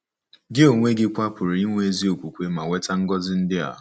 Gị onwe gị kwa pụrụ inwe ezi okwukwe ma nweta ngọzi ndị a.